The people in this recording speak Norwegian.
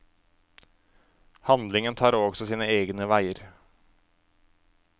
Handlingen tar også sine egne veger.